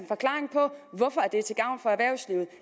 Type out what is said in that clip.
forklaring på hvorfor det er til gavn for erhvervslivet